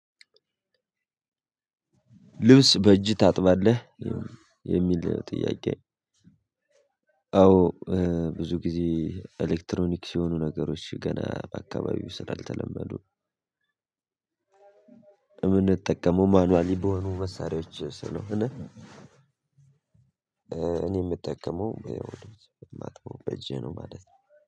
ልብስ በእጅ ታጥባለህ የሚል ጥያቄ? አዎ ብዙ ጊዜ ኤሌክትሮኒክስ የሆኑ ነገሮች ገና በአካባቢው ስላልተለመዱ የምንጠቀመው ማንዋሊ በሆኑ መሳሪያዎች ስለሆነ። እኔ የምጠቀመው ማጥበው በእጄ ነው ማለት ነው።